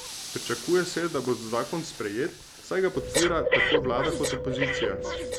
Pričakuje se, da bo zakon sprejet, saj ga podpira tako vlada kot opozicija.